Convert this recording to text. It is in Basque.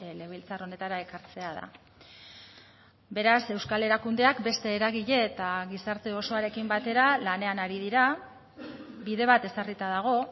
legebiltzar honetara ekartzea da beraz euskal erakundeak beste eragile eta gizarte osoarekin batera lanean ari dira bide bat ezarrita dago